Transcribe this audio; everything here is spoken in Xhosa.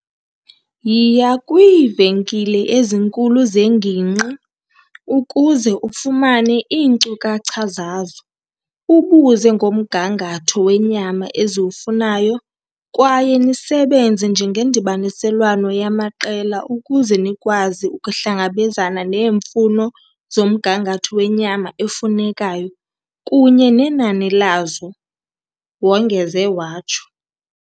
"Yiya kwiivenkile ezinkulu zengingqi ukuze ufumane iinkcukacha zazo, ubuze ngomgangatho wenyama eziwufunayo kwaye nisebenze njengendibaniselwano yamaqela ukuze nikwazi ukuhlangabezana neemfuno zomgangatho wenyama efunekayo kunye nenani lazo," wongeze watsho.